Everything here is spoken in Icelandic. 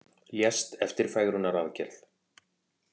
Lést eftir fegrunaraðgerð